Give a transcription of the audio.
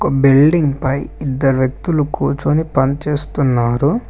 Building పై ఇద్దరు వ్యక్తులు కూర్చొని పని చేస్తున్నారు.